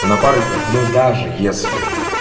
в напарниках ну даже если